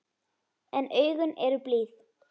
En augun eru blíð.